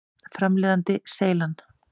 Framleiðandi: Seylan.